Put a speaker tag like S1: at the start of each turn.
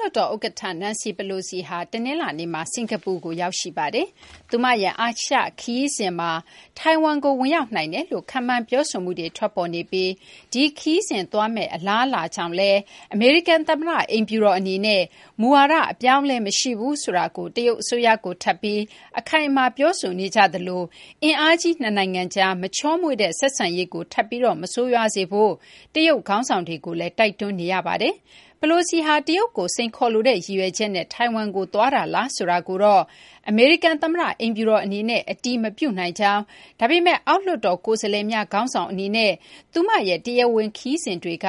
S1: လွှတ်တော် ဥက္ကဌ Nancy Pelosi ဟာ တနလာၤနေ့က စကာၤပူနိုင်ငံကို ရောက်ရှိပါတယ်။ သူမရဲ့ အာရှ ခရီးစဉ်မှာ ထိုင်ဝမ်ကို ဝင်ရောက်နိုင်တယ်လို့ ခန့်မှန်းပြောဆိုမှုတွေ ထွက်ပေါ်နေပြီး ဒီခရီးစဉ် သွားမယ့် အလားအလာကြောင့်လည်း အမေရိကန် သမ္မတ အိမ်ဖြူတော် အနေနဲ့ မူဝါဒ အပြောင်းအလဲ မရှိဘူးဆိုတာကို တရုတ်အစိုးရကို ထပ်ပြီး အခိုင်အမာ ပြောဆိုနေကြသလို အင်အားကြီး နှစ်နိုင်ငံကြား မချောမွေ့တဲ့ ဆက်ဆံရေးကို ထပ်ပြီး မဆိုးရွားစေဖို့ တရုတ် ခေါင်းဆောင်တွေကိုလည်း တိုက်တွန်းနေရပါတယ်။ Pelosi ဟာ တရုတ်ကို စိန်ခေါ်လိုတဲ့ ရည်ရွယ်ချက်နဲ့ ထိုင်ဝမ်ကို သွားတာလားဆိုတာကိုတော့ အမေရိကန် သမ္မတ အိမ်ဖြူတော် အနေနဲ့ အတည်မပြုနိုင်ကြောင်း၊ ဒါပေမဲ့ အောက်လွှတ်တော် ကိုယ်စားလှယ်များ ခေါင်းဆောင် အနေနဲ့ သူမရဲ့ တရားဝင် ခရီးစဉ်တွေက